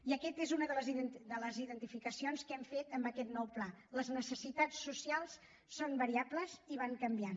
i aquesta és una de les identificacions que hem fet en aquest nou pla les necessitats socials són variables i van canviant